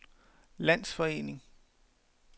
landsforening